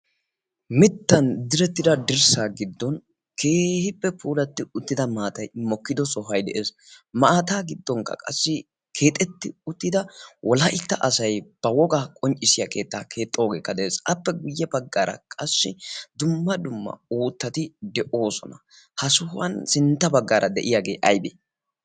mittan direttida dirssa giddon keehippe poolatti uttida maatai mokkido sohai de7ees. maataa giddonkka qassi keexetti uttida wolaitta asai ba wogaa qonccissiya keettaa keexxoogeekka de7ees. aappe guyye baggaara qassi dumma dumma oottati de7oosona. ha sohuwan sintta baggaara de7iyaagee aibe?